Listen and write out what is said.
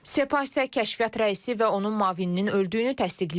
Sepah isə kəşfiyyat rəisi və onun müavininin öldüyünü təsdiqləyib.